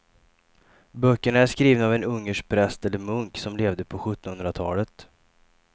Böckerna är skrivna av en ungersk präst eller munk som levde på sjuttonhundratalet.